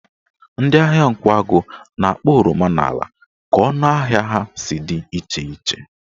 Ndị ahịa Nkwagụ na-akpọ oroma n'ala ka ọnụ ahịa ha si dị iche iche